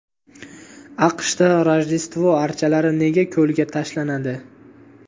AQShda Rojdestvo archalari nega ko‘lga tashlanadi?.